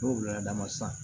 N'u wulila dama san